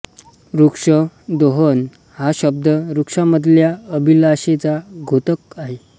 वृक्ष दोहद हा शब्द वृक्षामधल्या अभिलाषेचा द्योतक आहे